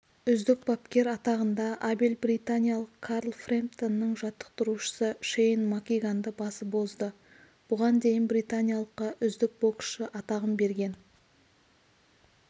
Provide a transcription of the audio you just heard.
үздік бапкер атағында абель британиялық карл фрэмптонның жаттықтырушысы шейн макгиганды басып озды бұған дейін британиялыққа үздік боксшы атағын берген